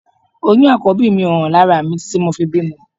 Oyún Àkọ́bí mi ò hàn lára mi títí tí mo fi bímọ